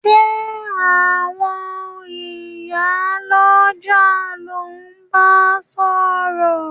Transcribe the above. Sé àwon ìyá lójà lo n ba sòrò